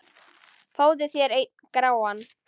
Fáðu þér einn gráan!